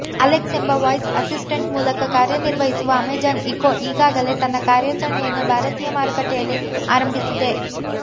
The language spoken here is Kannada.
ಅಲೆಕ್ಸ್ ಎಂಬ ವಾಯ್ಸ್ ಅಸಿಸ್ಟೆಂಟ್ ಮೂಲಕ ಕಾರ್ಯನಿರ್ವಹಿಸುವ ಅಮೆಜಾನ್ ಇಕೋ ಈಗಾಗಲೇ ತನ್ನ ಕಾರ್ಯಚರಣೆಯನ್ನು ಭಾರತೀಯ ಮಾರುಕಟ್ಟೆಯಲ್ಲಿ ಆರಂಭಿಸಿದೆ